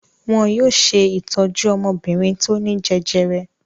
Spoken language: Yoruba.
Wọn yóò ṣe ìtọ́jú ọmọbìnrin tó ní jẹjẹrẹ.